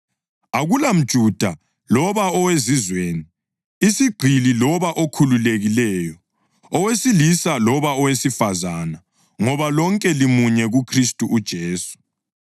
AkulamJuda loba oweZizweni, isigqili loba okhululekileyo, owesilisa loba owesifazane, ngoba lonke limunye kuKhristu uJesu.